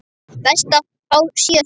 Best að fá síðasta sopann.